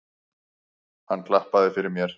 Hann klappaði fyrir mér.